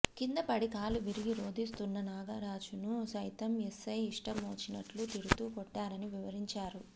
కిందపడి కాలు విరిగి రోదిస్తున్నా నాగరాజును సైతం ఎస్సై ఇష్టమొచ్చినట్లు తిడుతూ కొట్టారని వివరించారు